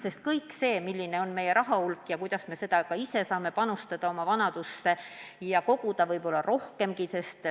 On väga oluline, milline on meie raha hulk ja kuidas me ise saame panustada oma vanaduse kindlustamisse ja võimalikult palju koguda.